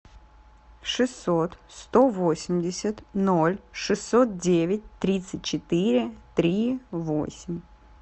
шестьсот сто восемьдесят ноль шестьсот девять тридцать четыре три восемь